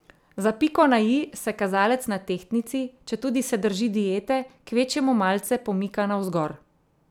Za piko na i se kazalec na tehtnici, četudi se drži diete, kvečjemu malce pomika navzgor.